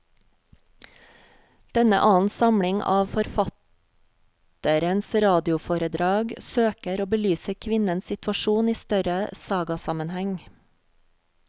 Denne annen samling av forfatterens radioforedrag søker å belyse kvinnens situasjon i større sagasammenheng.